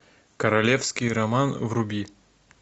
королевский роман вруби